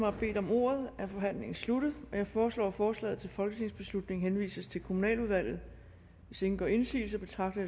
har bedt om ordet er forhandlingen sluttet jeg foreslår at forslaget til folketingsbeslutning henvises til kommunaludvalget hvis ingen gør indsigelse betragter